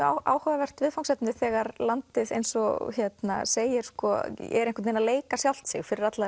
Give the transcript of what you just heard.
áhugavert viðfangsefni þegar landið eins og segir sko er einhvern veginn að leika sjálft sig fyrir alla